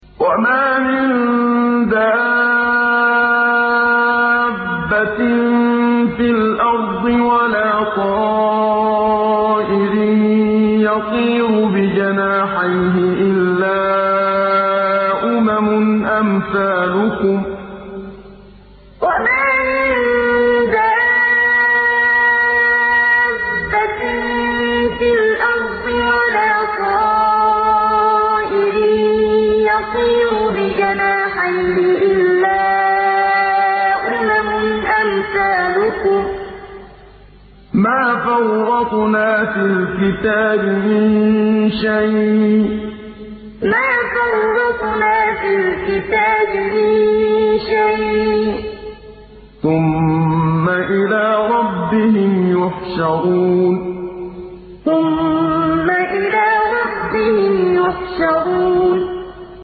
وَمَا مِن دَابَّةٍ فِي الْأَرْضِ وَلَا طَائِرٍ يَطِيرُ بِجَنَاحَيْهِ إِلَّا أُمَمٌ أَمْثَالُكُم ۚ مَّا فَرَّطْنَا فِي الْكِتَابِ مِن شَيْءٍ ۚ ثُمَّ إِلَىٰ رَبِّهِمْ يُحْشَرُونَ وَمَا مِن دَابَّةٍ فِي الْأَرْضِ وَلَا طَائِرٍ يَطِيرُ بِجَنَاحَيْهِ إِلَّا أُمَمٌ أَمْثَالُكُم ۚ مَّا فَرَّطْنَا فِي الْكِتَابِ مِن شَيْءٍ ۚ ثُمَّ إِلَىٰ رَبِّهِمْ يُحْشَرُونَ